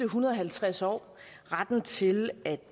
hundrede og halvtreds år retten til at